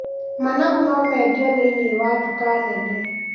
Managu no mendio thĩiniĩ wa nduka nene.